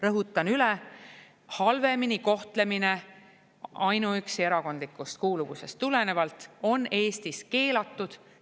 Rõhutan üle: halvemini kohtlemine ainuüksi erakondlikust kuuluvusest tulenevalt on Eestis keelatud.